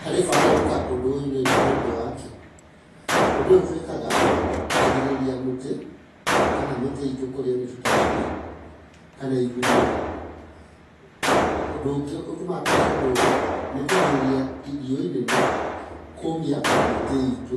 Harĩ bata gwĩka ũndũ ũyũ nĩ ũndũ wakĩ?, ũndũ ũyũ tũwĩkaga kũrigĩrĩria mũtĩ kana mĩtĩ itũ kũrĩo nĩ tũtabi , kana igunyo, ũndũ ũngĩ ũtũmaga twĩke ũndũ ũyũ, nĩ kũrigĩrĩria riũa inene kũmia mĩtĩ itũ,